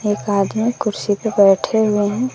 एक आदमी कुर्सी पे बैठे हुए हैं।